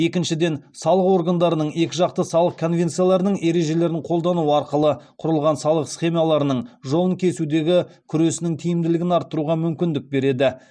екіншіден салық органдарының екіжақты салық конвенцияларының ережелерін қолдану арқылы құрылған салық схемаларының жолын кесудегі күресінің тиімділігін арттыруға мүмкіндік береді